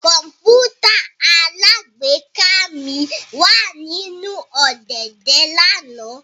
Kọǹpútà alágbèéká mi wa ninu ọ̀dẹ̀dẹ̀ lana